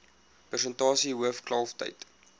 persentasie hoof kalftyd